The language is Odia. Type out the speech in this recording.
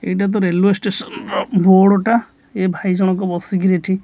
ଏଇଟାତ ରେଲୁଏ ଷ୍ଟେସନ ଅ ର ବୋର୍ଡ଼ ଟା ଏ ଭାଇ ଜଣଙ୍କ ବସିକିରି ଏଠି--